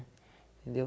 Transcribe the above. Entendeu?